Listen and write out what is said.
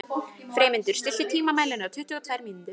Freymundur, stilltu tímamælinn á tuttugu og tvær mínútur.